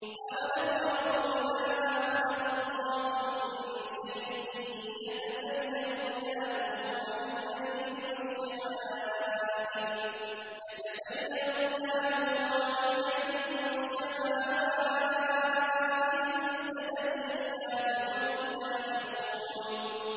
أَوَلَمْ يَرَوْا إِلَىٰ مَا خَلَقَ اللَّهُ مِن شَيْءٍ يَتَفَيَّأُ ظِلَالُهُ عَنِ الْيَمِينِ وَالشَّمَائِلِ سُجَّدًا لِّلَّهِ وَهُمْ دَاخِرُونَ